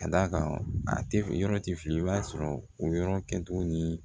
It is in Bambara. Ka d'a kan a tɛ yɔrɔ ti fiye i b'a sɔrɔ o yɔrɔ kɛcogo ni